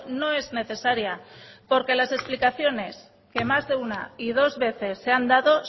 no es necesaria porque las explicaciones que más de una y dos veces se han dado